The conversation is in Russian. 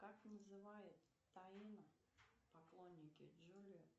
как называют тайна поклонники джулия